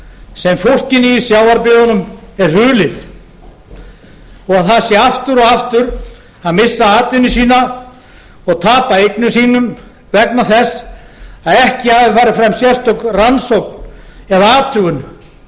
sem fólkinu í sjávarbyggðunum er hulið þó það sé aftur og aftur að missa atvinnu sína og tapa eignum sínum vegna þess að ekki hafi farið fram sérstök rannsókn eða athugun á